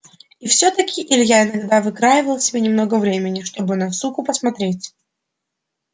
и всё-таки илья иногда выкраивал себе немного времени чтобы на суку посмотреть